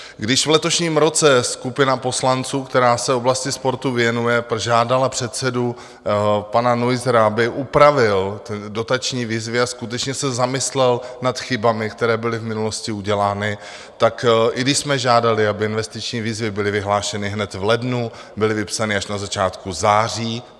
Když v letošním roce skupina poslanců, která se oblasti sportu věnuje, požádala předsedu pana Neussera, aby upravil dotační výzvy a skutečně se zamyslel nad chybami, které byly v minulosti udělány, tak i když jsme žádali, aby investiční výzvy byly vyhlášeny hned v lednu, byly vypsány až na začátku září.